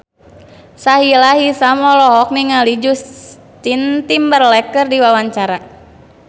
Sahila Hisyam olohok ningali Justin Timberlake keur diwawancara